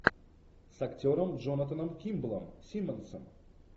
с актером джонатаном кимблом симмонсом